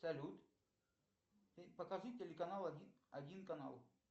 салют покажи телеканал один канал